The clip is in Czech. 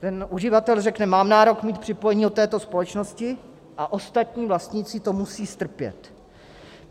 Ten uživatel řekne: Mám nárok mít připojení od této společnosti a ostatní vlastníci to musí strpět.